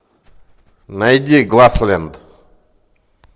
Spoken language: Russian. найди гласленд